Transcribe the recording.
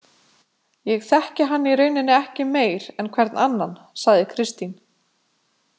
Ég þekki hann í rauninni ekki meir en hvern annan, sagði Kristín.